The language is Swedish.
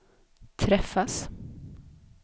träffas